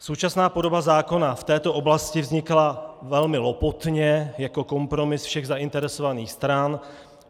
Současná podoba zákona v této oblasti vznikla velmi lopotně jako kompromis všech zainteresovaných stran.